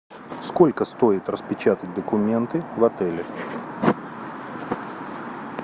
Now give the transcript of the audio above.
сколько стоит распечатать документы в отеле